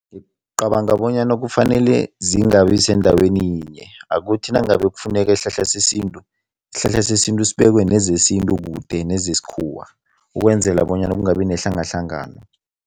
Ngicabanga bonyana kufanele zingabi sendaweni yinye. Akuthi nangabe kufuneka isihlahla sesintu, isihlahla sesintu sibekwe nezesintu kude nezesikhuwa ukwenzela bonyana kungabi nehlangahlangano.